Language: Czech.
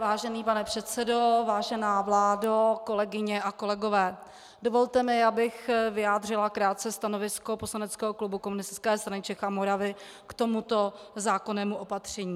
Vážený pane předsedo, vážená vládo, kolegyně a kolegové, dovolte mi, abych vyjádřila krátce stanovisko poslaneckého klubu Komunistické strany Čech a Moravy k tomuto zákonnému opatření.